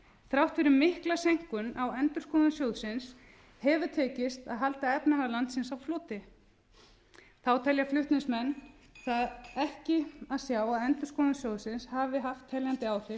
þrátt fyrir mikla seinkun á endurskoðun sjóðsins hefur tekist að halda efnahag landsins á floti þá telja flutningsmenn það ekki að sjá að endurskoðun sjóðsins hafi haft teljandi